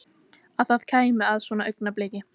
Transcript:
Að það kæmi að svona augnabliki.